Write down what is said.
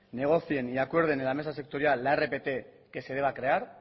negocien y acuerden en la mesa sectorial la rpt que se deba crear